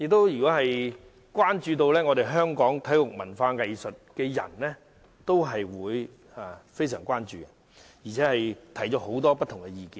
而關注本港體育及文化藝術的人士，亦曾提出許多不同的意見。